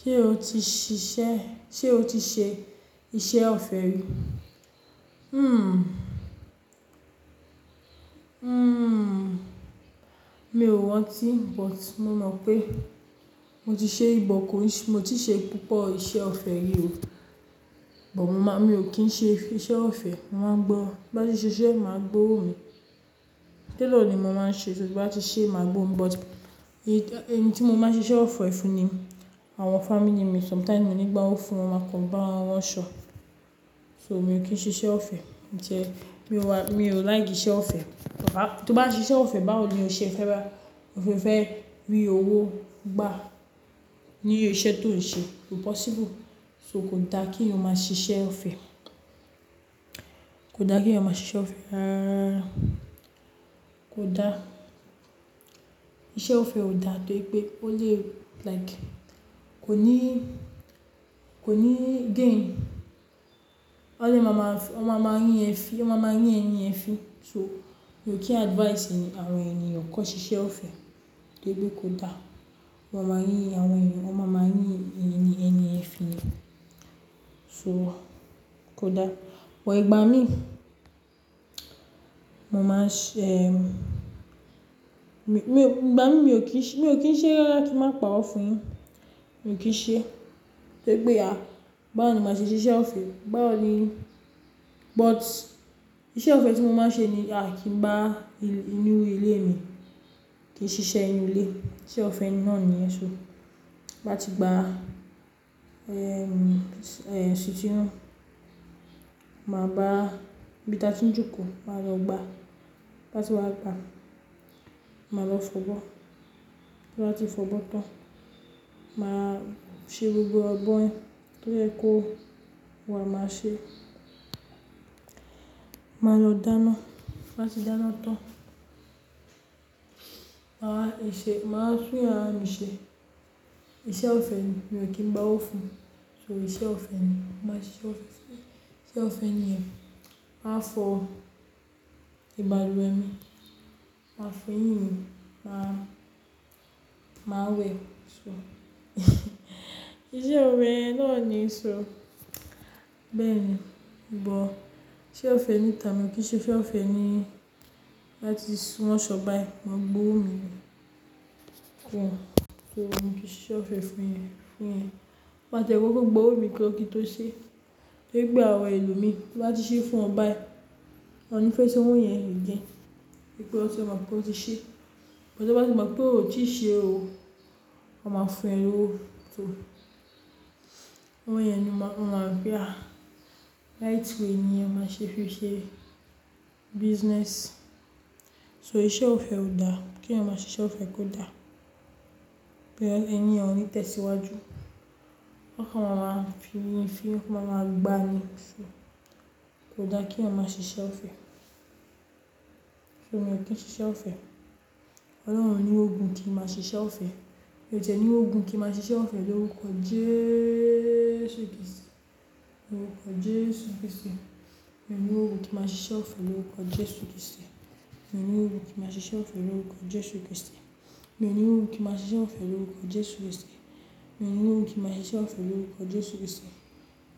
Ṣé o ti ṣiṣẹ́, ṣe o ti ṣe iṣẹ́ ọ̀fẹ́ rí? Hmmm. Hmmm, mi ò rantí but mo mọ pé mo ti ṣe ri, but ko, mi o ti ṣe púpọ̀ iṣẹ́ ọ̀fẹ́ ri o, bọ̀ mò máa mi ò kí ń ṣe iṣẹ́ ọ̀fẹ́, màá gbo ran tin bá ti n ṣiṣẹ́ màá gbowó mi. Tailor ni mo máa ń ṣe so tí n bá ti ṣe è máa gbowo mi but, éyì, eni tí mo máa ń ṣe iṣẹ́ ọ̀fẹ́ fún ní àwọn family mi sometimes mi o ní gbà owo fún wọn máa kan ba won ransò. So mi ò kìn ṣe iṣẹ́ ọ̀fẹ́. Jẹ mí o wa, mi ò like iṣẹ́ ọ̀fẹ́. A, tí o bá ṣe iṣẹ́ ọ̀fẹ́ báwo ni o se fe bá, o fé rí owó gbá ní isẹ tó n ṣe, ko possible, so ko da ki eyan maa ṣe iṣẹ́ ọ̀fẹ́, kò dá kí eyan maa ṣe iṣẹ́ ọ̀fẹ́ rararara. Ise ofe o dà toripe o lewu,, like kọ́ni, kòní gain. Wón le ma ma, won ma ma ri e fin, wón ma ma ri eniyen fin, so mi ò kín advice awon eniyan kan sise ofe toripe ko da. Won ma ma yin àwon ènìyàn, won ma ma yin eyin ẹ fi yen so kò dà. But igba mi mó máa sè emm igbà mí mi ò kín sé, mi ò kín sé rara kin ma pa rọ fun yin. Mo kín se toripe a bawo ni maa se se ise ofe bawo ni. But ise ofe ti mo ma se ni akingba inú ilé mi kí n si se inu ile. Ise ofe naa ni yen so. Bati gba ehm eh sitinu, ma gba ibiti atin joko maa lọ gba batiwa gba ma lọ f'obo tinba ti f'obotan maase gbogo abo yen toyeko waa ma se. Ma lo dana tinbati danatan. Maa ese. Maaa tun yara mi se. Ise ofe ni mio kin gba o fun so ise ofe ni. Ma se ise ofe. Ise ofe niyen. Máa fo ibaluwe mi, maa fo eyin mi, maa we so ise ofe yen naani so beeni bo ise ofe ni ta mio ki se ise ofe nii lati suwanso bayi. Mo gbowo mi kun ki ise ofe fun eyan-fun eyan. Ma tie koko gbowo mi kan. Kin to se toripe awon elomi tio bati se fun won bayi won ni fe san owo yen egan tori won tima pe o ti se. Bo ti won ba tima pe o ti se oo won ma fun ee lowo owo yen ni ma maa gba right way ni o ma se fi se business. So ise ofe o da ki eyan ma se ise ofe ko da be eniyen onite siwaju won kan ma ma rinfin won ma ma gba ni ko da ki eyan ma se ise ofe. Emi o kin se ise ofe olorun oni rogun ki ma se ise ofe mio tie ni rogun ki ma se ise ofe lorukọ Jesu Kristi. Lorukọ Jesu Kristi mio ni rogun ki ma se ise ofe lorukọ Jesu Kristi. Mio ni rogun ki ma se ise ofe lorukọ Jesu Kristi. Mo ni ogun ki ma se ise ofe lowukọ Jesu Kristi. Mo ni ogun ki ma se ise ofe lowukọ Jesu Kristi.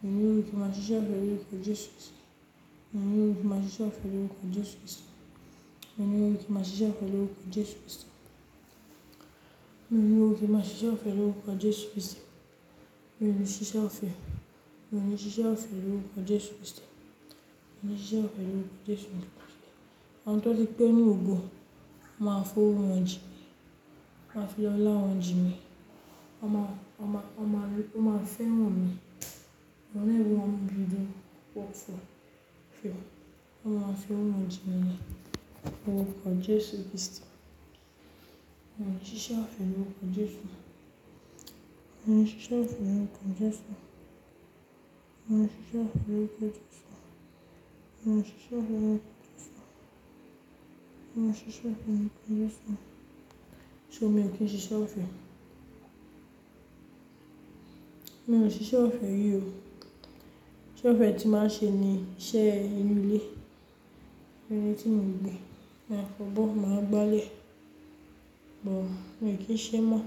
Mo ni ogun ki ma se ise ofe lowukọ Jesu Kristi. Mo ni ogun ki ma se ise ofe lowukọ Jesu Kristi. Mo ni ogun ki ma se ise ofe lowukọ Jesu Kristi. Mio ni rogun ki ma se ise ofe lorukọ Jesu Kristi. Mio ni se ise ofe. Mio ni se ise ofe lorukọ Jesu Kristi. Mio ni se ise ofe lorukọ Jesu mi. Awon to tipẹ nu ogun won fo owo ji mi wonma fi ola won jin mi oma oma oma re won ma fe ran mi olorun ni ogun didimufowo fihan wonma fe owo jinmi lorukọ Jesu Kristi. Mio ni se ise ofe lorukọ Jesu. Mio ni se ise ofe lorukọ Jesu. Mio ni se ise ofe lorukọ Jesu. Mio ni se ise ofe lorukọ Jesu. Mio ni se ise ofe lorukọ Jesu. So mio kin se ise ofe. Mio se ise ofe ri o. Isẹ ofe ti ma se ni ise inu ile ile ti mo n gbe maa foboo maa gbale bu mio kin se mo.